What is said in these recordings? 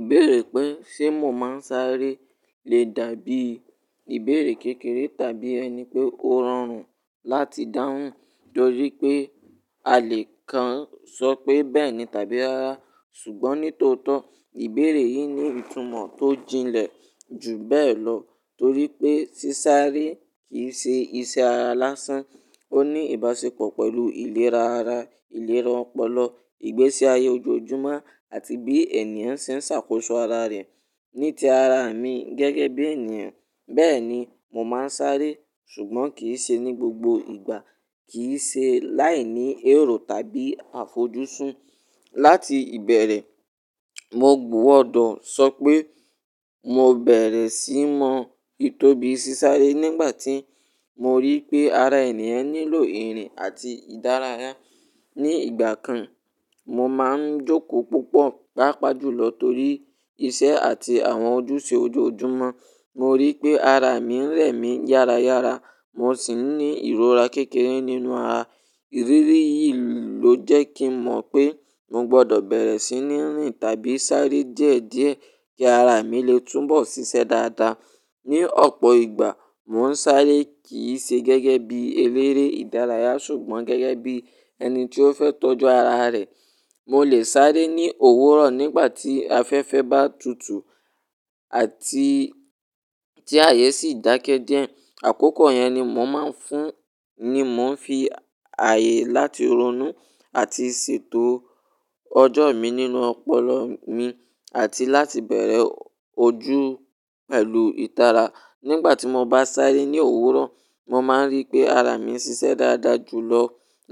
Ìbéèrè pé ṣe mo máa ń sáré le dàbí ìbéèrè kékeré tàbí ẹni pé ó rọrùn láti dáhùn torí pé a lè kan sọ pé bẹ́ẹ̀ ni tàbí rára. Ṣùgbọ́n ní tòótọ́, ìbéèrè yìí ní ìtumọ̀ tó jilẹ̀ jù bẹ́ẹ̀ lọ torí pé sísáré kì í ṣe iṣẹ́ ara lásán, ó ní ìbáṣepọ̀ pẹ̀lú ìlera ara, ìlera ọpọlọ, ìgbésí ayé ojoojúmọ́ àti bí ènìyàn ṣe ń ṣàkóso ara rẹ̀. Ní ti ara mi gẹ́gẹ́ bí ènìyàn, bẹ́ẹ̀ ni, mo máa ń sáré, ṣùgbọ́n kì í ṣe ní gbogbo ìgbà, kì í ṣe láìní èrò tàbí àfojúsùn. Láti ìbẹ̀rẹ̀, mo gbówọ́dọ̀ sọ pé mo bẹ̀rẹ̀ síi mọ ìtobi sísáré nígbà tí mo rí pé ara ènìyàn nílò ìrìn àti ìdárayá. Ni ìgbà kan, mo máa ń jókòó púpọ̀, pàápàá jùlọ torí iṣẹ́ àti àwọn ojúṣe ojoojúmọ́. Mo rí pé ara mi ń rẹ̀ mí yára yára, mo sì ń ní ìrora kékeré nínú ara. Ìrírí yìí ló jẹ́ kí mọ̀ pé mo gbọdọ̀ bẹ̀rẹ̀ sí ní rìn tàbí sáré díẹ̀díẹ̀ kí ara mi lè túnbọ̀ ṣiṣẹ́ dáadáa. Ni ọ̀pọ̀ ìgbà, mò ń sáré kì í ṣe gẹ́gẹ́ bí eléré ìdárayá ṣùgbọ́n gẹ́gẹ́ bí ẹni tí ó fẹ́ tọ́jú ara rẹ̀. Mo lè sáré ní òwúrọ̀ nígbà tí afẹ́fẹ́ bá tutù àti tí àyè sì dákẹ́ díẹ̀. Àkókò yẹn ni mò máa ń fún ni mo n fí ààyè láti ronú àti ṣètò ọjọ́ mi nínú ọpọlọ mi àti láti bẹ̀rẹ̀ ojú pẹ̀lú ìtara. Nígbà tí mo bá sáré ní òwúrọ̀, mo máa ń rí pé ara mi ń ṣiṣẹ́ dáadáa jùlọ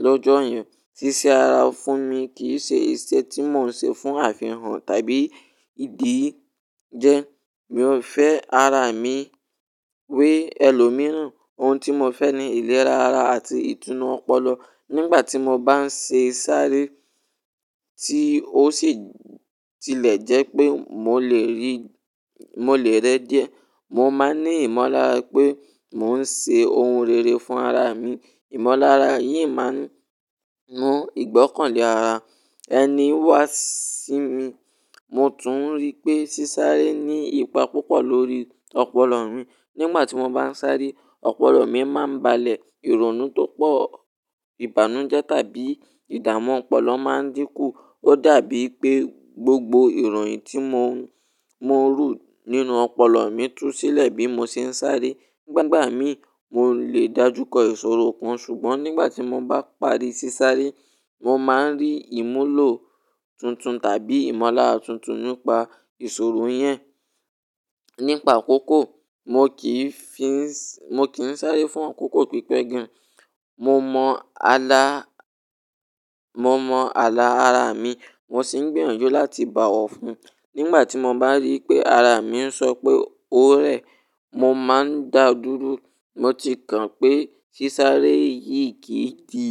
lọ́jọ́ yẹn. Sísá ara fún mi kì í ṣe ìṣe tí mò ń ṣe fún àfihàn tàbí ìdí jẹ. Mi ò fẹ́ ara mi wé ẹlòmíràn. Ohun tí mo fẹ́ ni ìlera ara àti ìtùnú ọpọlọ. Nígbà tí mo bá ń ṣe sáré tí ó sì tilẹ̀ jẹ́ pé mo lè rẹ́ díẹ̀, mo máa ní ìmọ̀lára pé mò ń ṣe ohun rere fún ara mi. Ìmọ̀lára yìí máa ń mú ìgbọ́kànlé ara ẹni wá sí mi. Mo tún rí pé sísáré ní ipa púpọ̀ lórí ọpọlọ mi. Nígbà tí mo bá ń sáré, ọpọlọ mi máa ń balẹ̀, ìrònú tó pọ̀, ìbànújẹ́ tàbí ìdààmú ọpọlọ máa ń dínkù. Ó dàbí pé gbogbo ìròyìn tí mo rù nínú ọpọlọ mi tú sílẹ̀ bí mo ṣe ń sáré. Gbàgbà mí, mo lè dàjúkọ ìṣòro kan ṣùgbọ́n nígbà tí mo bá parí sísáré, mo máa ń rí ìmúlò tuntun tàbí ìmọ̀lára tuntun nípa ìṣòro yẹn. Nípa àkókò, mo kì í sáré fún àkókò pípẹ́ gan. Mo mọ àlà ara mi, mo sì ń gbèrò jó láti bá ọ fún. Nígbà tí mo bá rí pé ara mi ń sọ pé ó rẹ̀, mo máa ń dà dúró. Mo ti kan pé sísáré yìí kì í di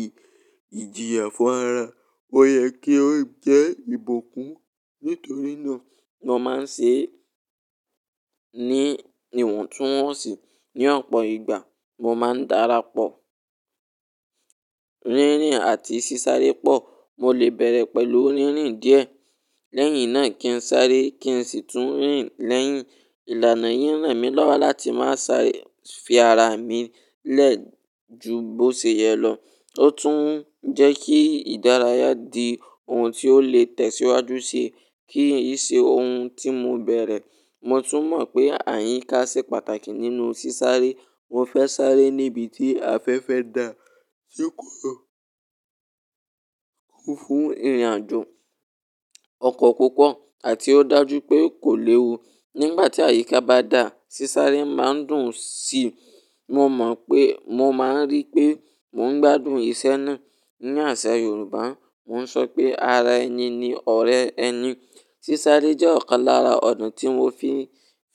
ìjìyà fún ara. Ó yẹ kí ó jẹ́ ìbùkún. Nítorí náà, mo máa ń ṣe é ní ìwọ̀ntúnwọ̀nsì. Ni ọ̀pọ̀ ìgbà, mo máa ń darapọ̀ rírìn àti sísáré pọ̀. Mo lè bẹ̀rẹ̀ pẹ̀lú rírìn díẹ̀ lẹ́yìn náà kí n sáré kí sì tún rìn lẹ́yìn. Ìlànà yìí nràn mí lọ́wọ́ láti má sá fi ara mi lẹ̀ ju bó ṣe yẹ lọ. Ó tún ń jẹ́ kí ìdárayá di ohun tí ó lè tẹ̀síwájú ṣe kí í ṣe ohun tí mo bẹ̀rẹ̀. Mo tún mọ̀ pé àyíká ṣe pàtàkì nínú sísáré. Mo fẹ́ sáré níbi tí afẹ́fẹ́ dà, tí kò tó kún fún ìrìnàjò, ọkọ̀ púpọ̀ àti ó dàjú pé kò léwu. Nígbà tí àyíká bá dà, sísáré máa ń dùn sí i. Mo máa ń rí pé mò ń gbádùn iṣẹ́ náà. Ni àṣà Yorùbá, wọ́n sọ pé ara ẹni ni ọ̀rẹ́ ẹni. Sísáré jẹ́ ọ̀kan lára ọ̀nà tí mo fi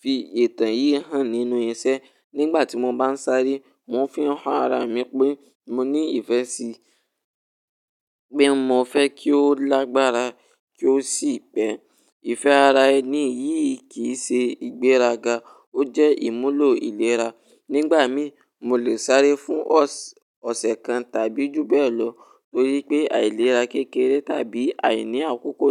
fi ìtàn yìí hàn nínú iṣẹ́. Nígbà tí mo bá ń sáré, mò ń fi hàn ara mi pé mo ní ìfẹ́ sí i, pé mo fẹ́ kí ó lágbára kí ó sì pẹ́. Ìfẹ́ ara ẹni yìí kì í ṣe ìgbéraga, ó jẹ́ ìmúlò ìlera. Nígbà mí, mo lè sáré fún ọ̀sẹ̀ kan tàbí jù bẹ́ẹ̀ lọ torí pé àìlera kékeré tàbí àìní àkókò.